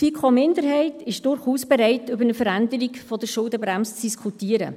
Die FiKo-Minderheit ist durchaus bereit, über eine Veränderung der Schuldenbremse zu diskutieren,